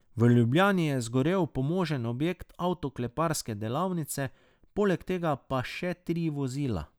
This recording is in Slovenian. V Ljubljani je zgorel pomožen objekt avtokleparske delavnice, poleg tega pa še tri vozila.